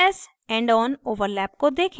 ss endon overlap को देखें